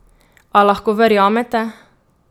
A lahko verjamete?